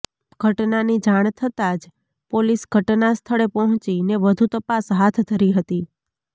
ઘટનાની જાણ થતાં જ પોલીસ ઘટના સ્થળે પહોંચીને વધુ તપાસ હાથધરી હતી